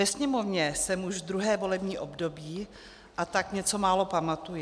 Ve Sněmovně jsem už druhé volební období, a tak něco málo pamatuji.